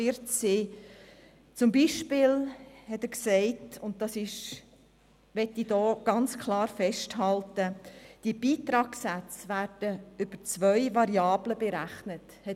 Er sagte beispielsweise – und das möchte ich hier klar festhalten –, dass die Beitragssätze über zwei Variablen berechnet werden.